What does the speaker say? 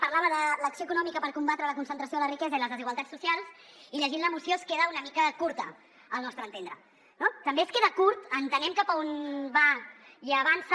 parlava de l’acció econòmica per combatre la concentració de la riquesa i les desigualtats socials i llegint la moció queda una mica curta al nostre entendre no també queda curt entenem cap a on va i avança